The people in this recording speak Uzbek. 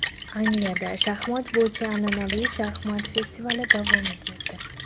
Angliyada shaxmat bo‘yicha an’anaviy shaxmat festivali davom etmoqda.